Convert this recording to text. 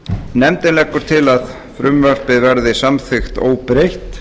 nefndin leggur til að frumvarpið verði samþykkt óbreytt